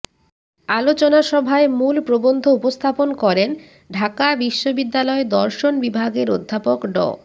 আলোচনাসভায় মূল প্রবন্ধ উপস্থাপন করেন ঢাকা বিশ্ববিদ্যালয় দর্শন বিভাগের অধ্যাপক ড